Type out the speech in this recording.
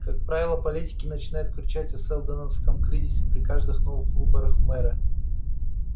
как правило политики начинают кричать о сэлдоновском кризисе при каждых новых выборах в мэры